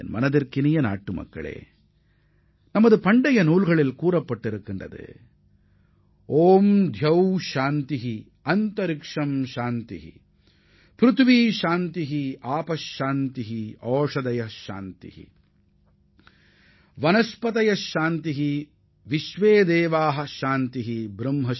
எனதருமை நாட்டு மக்களே நமது புராணங்களும் இதைத்தான் எடுத்துரைக்கின்றன